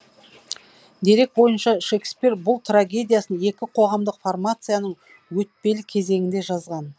дерек бойынша шекспир бұл трагедиясын екі қоғамдық формацияның өтпелі кезеңінде жазған